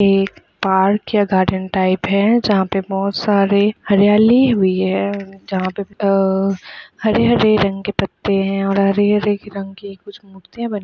एक पार्क या garden type है जहाँ पे बोहत सारे हरियाली हुई है जहाँ पे अ हरे-हरे रंग के पत्ते है और हरे-हरे रंग की कुछ मूर्तिया बनी हुई है।